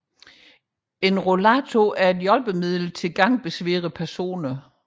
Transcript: En rollator er et hjælpemiddel til gangbesværede personer